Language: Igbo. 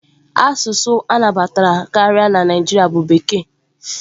Asụsụ a na-anabatakarị na Naịjirịa bụ Bekee.